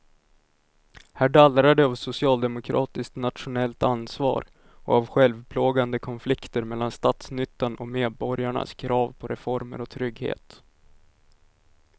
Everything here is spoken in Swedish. Här dallrar det av socialdemokratiskt nationellt ansvar och av självplågande konflikter mellan statsnyttan och medborgarnas krav på reformer och trygghet.